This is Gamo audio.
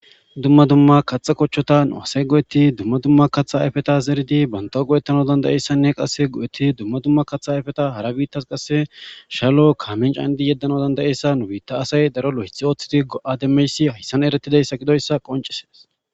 Dumma dumma katha kochota nu asay go'etid dumma dumma katha qomota zerid bantawu go'etanaw danda'iyaysanne qasekka go'etid dumma dumma katha ayfeta qase shalo Kamen canid yedanaw danda'iyeysa nu bita asay lo'ethi othid go'a demiyays haysan eretidaysa gidoysa qoncises.